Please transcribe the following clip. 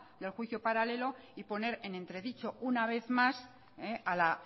del juicio paralelo y poner en entredicho una vez más a la